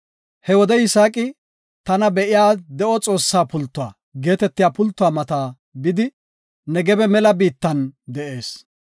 He wode Yisaaqi, “Tana Be7iya De7o Xoossa Pultuwa” geetetiya pultuwa mata bidi, Negebe mela biittan de7ees.